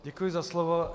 Děkuji za slovo.